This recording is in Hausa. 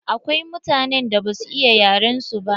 Akwai mutanen da ba su iya yaren su ba.